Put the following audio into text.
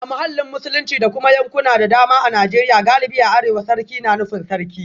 A mahallin Musulunci da kuma yankuna da dama a Najeriya galibi a arewa, sarki na nufin Sarki